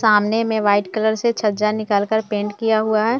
सामने में white colour से छज्जा निकल के पेंट किया हुआ है